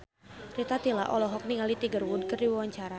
Rita Tila olohok ningali Tiger Wood keur diwawancara